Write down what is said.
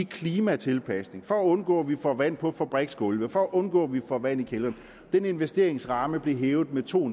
klimatilpasning for at undgå at vi får vand på fabriksgulve for at undgå at vi får vand i kældrene den investeringsramme blev hævet med to